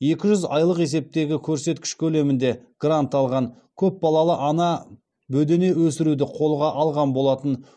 екі жүз айлық есептегі көрсеткіш көлемінде грант алған көп балалы ана бөдене өсіруді қолға алған болатын